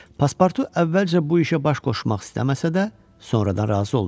Pasportu əvvəlcə bu işə baş qoşmaq istəməsə də, sonradan razı oldu.